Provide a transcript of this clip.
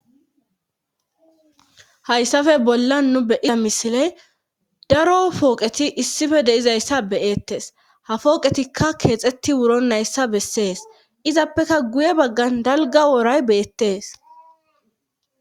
hayssafe bolla nu beyiza misile daro fooqeti issife deizayssa beyettes ha fooqetikka keexetti wuro nayssa bessees izappeka guye baggan dalga woray beyettees